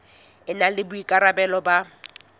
e na le boikarabelo ba